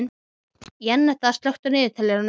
Jenetta, slökktu á niðurteljaranum.